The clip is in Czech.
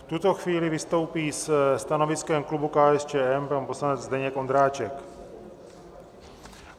V tuto chvíli vystoupí se stanoviskem klubu KSČM pan poslanec Zdeněk Ondráček.